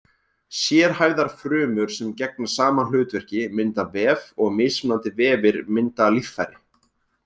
Sérhæfðar frumur sem gegna sama hlutverki mynda vef og mismunandi vefir mynda líffæri.